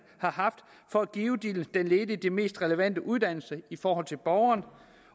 har haft for at give den ledige den mest relevante uddannelse både i forhold til borgeren